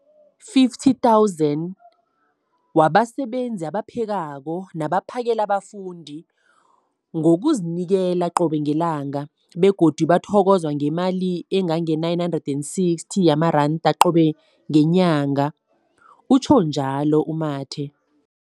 50 000 zabasebenzi abaphekako nabaphakela abafundi ngokuzinikela qobe ngelanga, begodu bathokozwa ngemali ema-960 wamaranda qobe ngenyanga, utjhwe njalo u-Mathe.